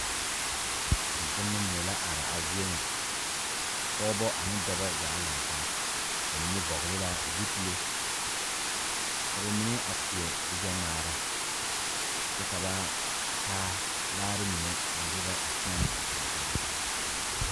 Tontonema mine la are a zie ŋa pɔgeba ane dɔba zaa la laŋ taa ba mine vɔgle la zupile ka ba mine a seɛ kurigbɛŋmaara kyɛ ka ba taa laare mine a derɛ a teɛnɛ a korɔ taa.